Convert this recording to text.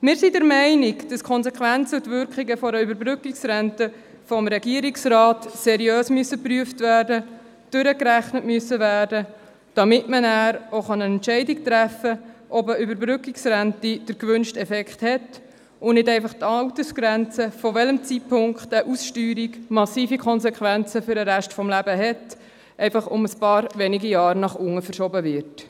Wir sind der Meinung, dass Konsequenzen und Wirkungen einer Überbrückungsrente vom Regierungsrat seriös geprüft und durchgerechnet werden müssen, damit man nachher entscheiden kann, ob eine Überbrückungsrente den gewünschten Effekt hat und nicht einfach die Altersgrenze, zu welchem Zeitpunkt eine Aussteuerung massive Konsequenzen für den Rest des Lebens hat, um ein paar wenige Jahre nach unten verschoben wird.